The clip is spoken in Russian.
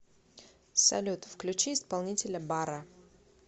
салют включи исполнителя барра